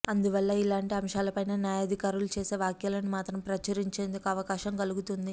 అందువల్ల ఇలాంటి అంశాలపైన న్యాయాధికారులు చేసే వ్యాఖ్యలను మాత్రం ప్రచురించేందుకు అవకాశం కలుగుతుంది